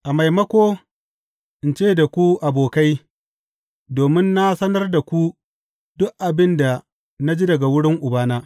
A maimako in ce da ku abokai, domin na sanar da ku duk abin da na ji daga wurin Ubana.